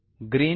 green